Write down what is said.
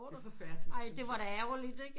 Det er forfærdeligt synes jeg